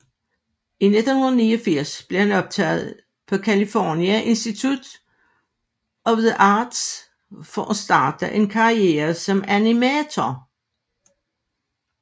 I 1989 blev han optaget på California Instiute of the Arts for at starte en karriere som animator